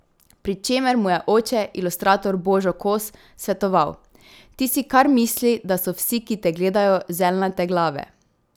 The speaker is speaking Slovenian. Pri čemer mu je oče, ilustrator Božo Kos svetoval: 'Ti si kar misli, da so vsi, ki te gledajo, zeljnate glave.